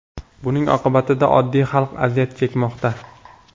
Buning oqibatida oddiy xalq aziyat chekmoqda.